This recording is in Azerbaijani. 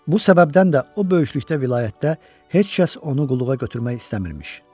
Bu səbəbdən də o böyüklükdə vilayətdə heç kəs onu qulluğa götürmək istəmir.